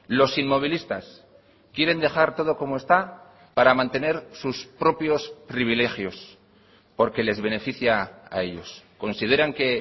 los inmovilistas quieren dejar todo como está para mantener sus propios privilegios porque les beneficia a ellos consideran que